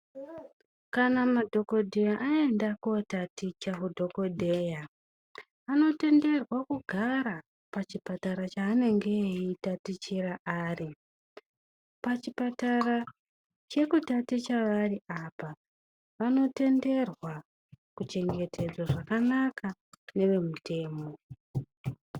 Kana madhokoyeya aenda kootaticha hudhokodheya, anotenderwa kugara pachipatara chaanenge eitatichira ari. Pachipatara chekutaticha vari apa vanotenderwa kuchengetedzwa zvakanaka nevemutemo.